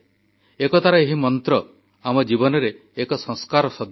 ଏକତାର ଏହି ମନ୍ତ୍ର ଆମ ଜୀବନରେ ଏକ ସଂସ୍କାର ସଦୃଶ